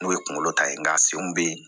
N'o ye kunkolo ta ye nka senw bɛ ye